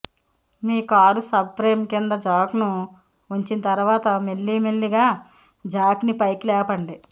మీ car sub frame క్రింద జాక్ను ఉంచిన తర్వాత మెల్లి మెల్లిగా జాక్ని పైకి లేపండి